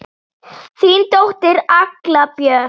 Þín dóttir, Agla Björk.